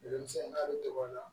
Denmisɛnnin a bɛ tɔgɔ dɔn